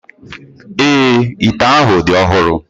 Èé, ite ahụ dị ọhụrụ.